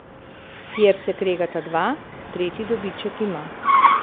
Kjer se kregata dva, tretji dobiček ima.